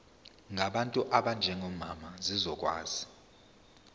ngabantu abanjengomama zizokwazi